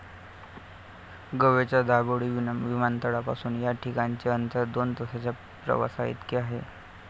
गोव्याच्या दाभोळी विमानतळापासून या ठिकाणचे अंतर दोन तासांच्या प्रवासाइतके आहे.